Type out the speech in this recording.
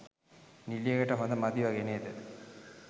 නිළියකට හොඳ මදි වගේ නේද?